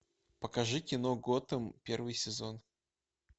покажи кино готэм первый сезон